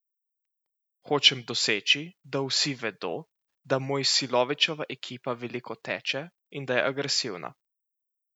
Hočem doseči, da vsi vedo, da Mojsilovićeva ekipa veliko teče in da je agresivna.